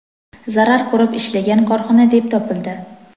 zarar ko‘rib ishlagan korxona deb topildi.